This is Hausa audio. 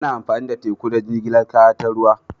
Ana amfani da teku don jigilar kaya ta ruwa.